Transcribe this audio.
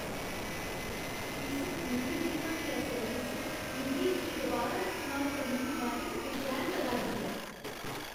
इस कूरियर दी घटिया सर्विस मिगी इसगी दुबारा इस्तेमाल करने दे बारे च बेचैन करा 'रदी ऐ।